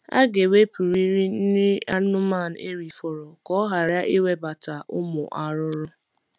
Aga ewepurịrị nri anụmanụ erifọrọ ka ọ ghara ịnwebata ụmụ arụrụ